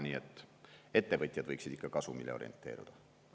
Nii et ettevõtjad võiksid ikka kasumile orienteeruda.